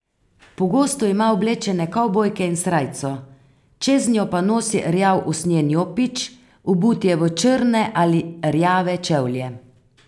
Pogosto ima oblečene kavbojke in srajco, čeznjo pa nosi rjav usnjen jopič, obut je v črne ali rjave čevlje.